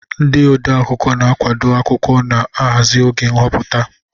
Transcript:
Ndị odeakwụkwọ na-akwadebe akwụkwọ ma hazie oge nhọpụta.